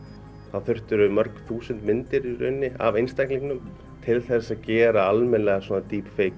þá mörg þúsund myndir af einstaklingnum til þess að gera almennilega